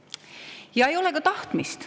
Ja ei ole ka tahtmist.